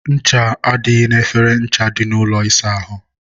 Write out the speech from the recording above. ncha adịghị n'efere ncha dị n'ụlọ ịsa ahụ.